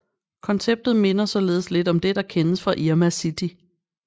Konceptet minder således lidt om det der kendes fra Irma City